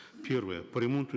певрое по ремонту